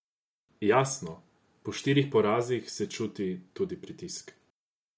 Jasno, po štirih porazih se čuti tudi pritisk.